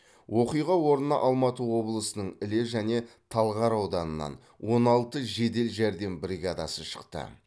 оқиға орнына алматы облысының іле және талғар ауданынан он алты жедел жәрдем бригадасы шықты